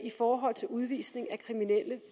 i forhold til udvisning af kriminelle